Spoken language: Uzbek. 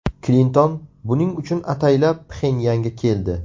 Klinton buning uchun ataylab Pxenyanga keldi.